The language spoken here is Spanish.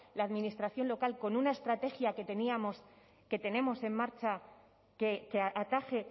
la administración local con una estrategia que tenemos en marcha que ataje